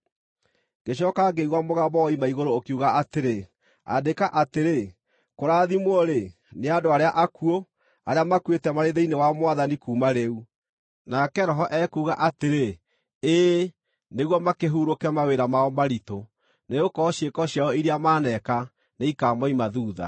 Ngĩcooka ngĩigua mũgambo woima igũrũ ũkiuga atĩrĩ, “Andĩka atĩrĩ: Kũrathimwo-rĩ, nĩ andũ arĩa akuũ, arĩa makuĩte marĩ thĩinĩ wa Mwathani kuuma rĩu.” Nake Roho ekuuga atĩrĩ, “Ĩĩ, nĩguo makĩhurũke mawĩra mao maritũ, nĩgũkorwo ciĩko ciao iria maneeka nĩikamoima thuutha.”